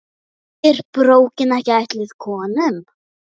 Er bókin ekki ætluð konum?